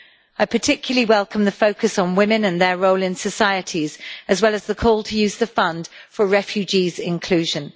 I particularly welcome the focus on women and their role in societies, as well as the call to use the fund for refugees' inclusion.